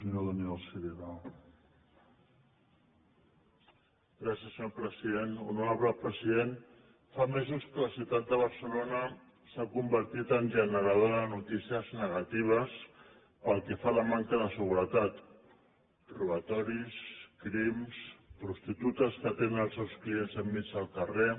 honorable president fa mesos que la ciutat de barcelona s’ha convertit en generadora de notícies negatives pel que fa a la manca de seguretat robatoris crims prostitutes que atenen els seus clients en mig del carrer